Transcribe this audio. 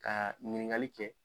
Kaa ɲiniŋali kɛ